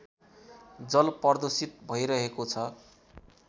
जलप्रदूषित भैरहेको छ